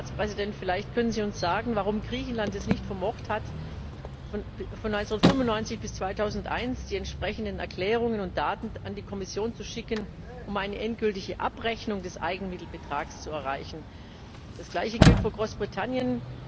Herr Ratspräsident, vielleicht können Sie uns sagen, warum Griechenland es nicht vermocht hat, von 1995 bis 2001 die entsprechenden Erklärungen und Daten an die Kommission zu schicken, um eine endgültige Abrechnung des Eigenmittelbetrags zu erreichen. Das Gleiche gilt für Großbritannien.